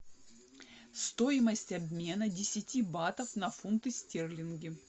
стоимость обмена десяти батов на фунты стерлинги